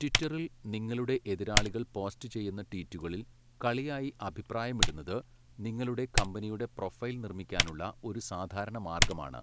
ട്വിറ്ററിൽ, നിങ്ങളുടെ എതിരാളികൾ പോസ്റ്റ് ചെയ്യുന്ന ട്വീറ്റുകളിൽ കളിയായി അഭിപ്രായമിടുന്നത്, നിങ്ങളുടെ കമ്പനിയുടെ പ്രൊഫൈൽ നിർമ്മിക്കാനുള്ള ഒരു സാധാരണ മാർഗമാണ്.